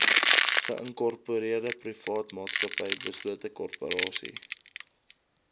geïnkorpereerdeprivaatmaatsappy beslote korporasie